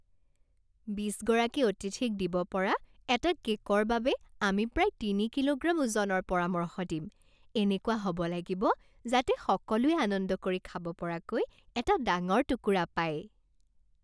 বিছ গৰাকী অতিথিক দিব পৰা এটা কে'কৰ বাবে আমি প্ৰায় তিনি কিলোগ্ৰাম ওজনৰ পৰামৰ্শ দিম। এনেকুৱা হ'ব লাগিব যাতে সকলোৱে আনন্দ কৰি খাব পৰাকৈ এটা ডাঙৰ টুকুৰা পায়।